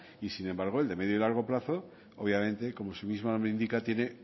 y sin embargo el de medio y largo plazo obviamente como su mismo nombre indica tiene